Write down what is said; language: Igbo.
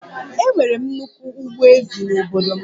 Enwere m nnukwu ugbo ezì n'obodo m